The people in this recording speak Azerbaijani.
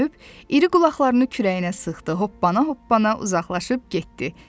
O dönüb, iri qulaqlarını kürəyinə sıxdı, hoppana-hoppana uzaqlaşıb getdi.